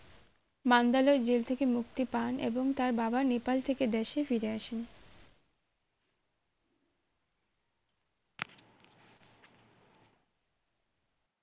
Mandalay jail থেকে মুক্তি পান এবং তার বাবা নেপাল থেকে দেশে ফিরে আসেন